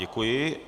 Děkuji.